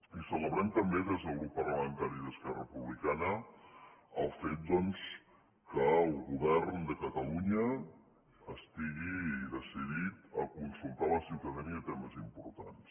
i celebrem també des del grup parlamentari d’esquerra republicana el fet doncs que el govern de catalunya estigui decidit a consultar la ciutadania en temes importants